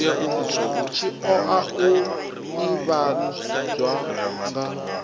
tshi oa u ivhadzwa nga